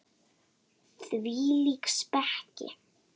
Hvílík speki!